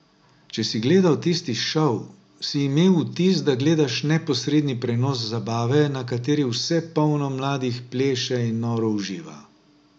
Če si gledal tisti šov, si imel vtis, da gledaš neposredni prenos zabave, na kateri vse polno mladih pleše in noro uživa.